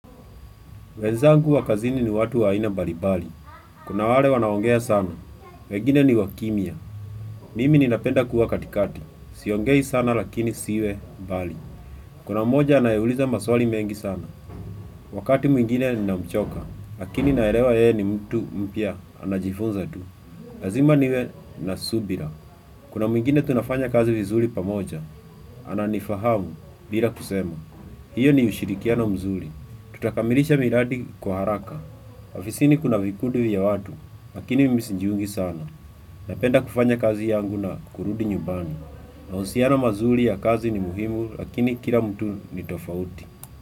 Wenzangu wa kazini ni watu wa aina mbali mbali. Kuna wale wanaongea sana. Wegine ni wa kimya. Mimi ninapenda kuwa katikati. Siongei sana lakini siwe mbali. Kuna mmoja anaye uliza maswali mengi sana. Wakati mwingine namchoka. Lakini naelewa ye ni mtu mpya. Anajifunza tu. Lazima niwe na subira. Kuna mwingine tunafanya kazi vizuri pamoja. Ana nifahamu bila kusema. Hiyo ni ushirikiano mzuri. Tutakamilisha miradi kwa haraka. Afisini kuna vikudu ya watu, lakini mimi sijiungi sana. Napenda kufanya kazi yangu na kurudi nyumbani. Mahusiano mazuri ya kazi ni muhimu, lakini kila mtu ni tofauti.